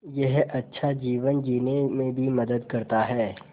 यह अच्छा जीवन जीने में भी मदद करता है